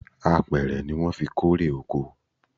Apẹ̀rẹ̀ ni wọn fí ń kórè oko